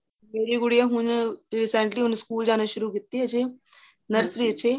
ਮੇਰੀ ਗੁੜੀਆਂ ਹੁਣ recently ਹੁਣ ਸਕੂਲ ਜਾਣਾ ਸ਼ੁਰੂ ਕੀਤੀ ਏ ਅਜੇ nursery ਏ ਚ ਏਹ